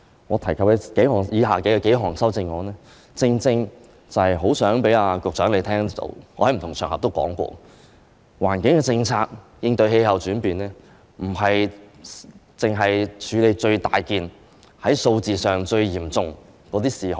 我提及以下數項修正案，正正是希望局長聽到——我在不同場合都說過——應對氣候變化的環境政策，不單是為了處理最重大、在數字上最嚴重的事項。